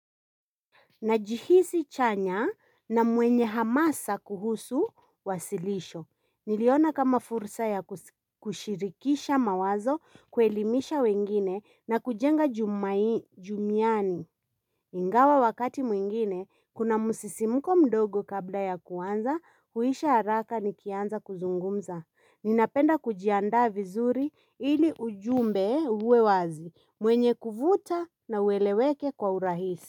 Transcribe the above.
Najihisi chanya na mwenye hamasa kuhusu wasilisho. Niliona kama fursa ya kushirikisha mawazo, kuelimisha wengine na kujenga jumiani. Ingawa wakati mwingine, kuna msisimko mdogo kabla ya kuanza, huisha haraka nikianza kuzungumza. Ninapenda kujiandaa vizuri ili ujumbe uwe wazi, mwenye kuvuta na uweleweke kwa urahisi.